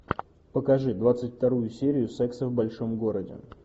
покажи двадцать вторую серию секса в большом городе